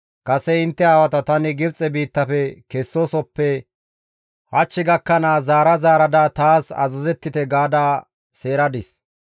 Kase intte aawata tani Gibxe biittafe kessoosappe hach gakkanaas, zaara zaarada, taas azazettite!› gaada seeradis.